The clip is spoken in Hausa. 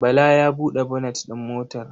Bala ya buɗe bonet ɗin motar.